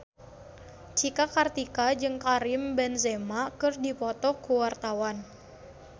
Cika Kartika jeung Karim Benzema keur dipoto ku wartawan